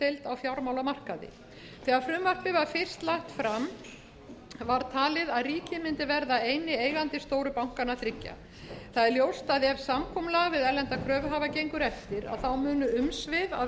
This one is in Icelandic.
á fjármálamarkaði þegar frumvarpið var fyrst lagt fram var talið að ríkið mundi verða eini eigandi stóru bankanna þriggja ljóst er að ef samkomulag við erlenda kröfuhafa gengur eftir munu umsvif af